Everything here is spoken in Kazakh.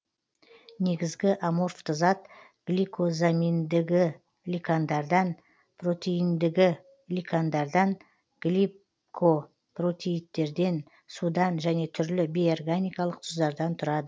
негізгі аморфты зат гликозаминдігликандардан протеиндігликандардан гликопротеидтерден судан жөне түрлі бейорганикалық тұздардан тұрады